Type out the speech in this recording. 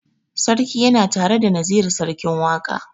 Sarki yana tare da Naziru sarkin waƙa.